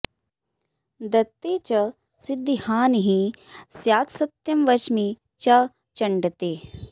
दत्ते च सिद्धिहानिः स्यात्सत्यं वच्मि च चण्ड ते